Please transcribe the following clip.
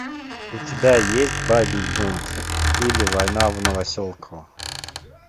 у тебя есть бабий бунт или война в новоселково